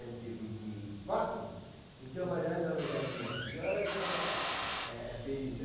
e vinte e quatro Então, eu falei, olha, dona Janina, a senhora que é é é feliz.